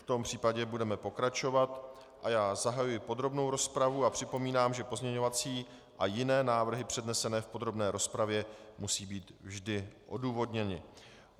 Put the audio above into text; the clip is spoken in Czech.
V tom případě budeme pokračovat a já zahajuji podrobnou rozpravu a připomínám, že pozměňovací a jiné návrhy přednesené v podrobné rozpravě musí být vždy odůvodněny.